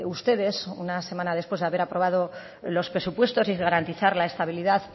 ustedes una semana después de haber aprobado los presupuestos y de garantizar la estabilidad